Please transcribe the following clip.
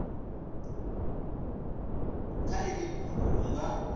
kha iḽi fhungo hu nga